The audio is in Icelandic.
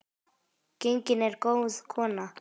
Gengin er góð kona.